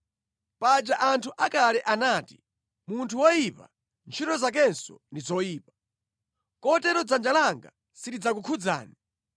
Paja anthu akale anati, ‘Munthu woyipa, ntchito zakenso ndi zoyipa.’ Kotero dzanja langa silidzakukhudzani.